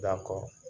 Da kɔ